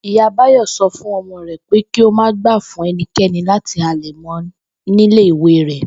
Ìyá Báyò̩ so̩ fún o̩mo̩ rè̩ pé kí ó má gbà fún e̩niké̩ni láti halè̩ mo̩ nílé ìwé rè̩